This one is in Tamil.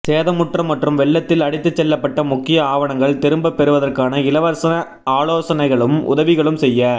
சேதமுற்ற மற்றும் வெள்ளத்தில் அடித்து செல்லப்பட்ட முக்கிய ஆவணங்கள் திரும்பப் பெறுவதற்கான இலவச ஆலோசனைகளும் உதவிகளும் செய்ய